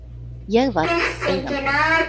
Ég var Eigandinn.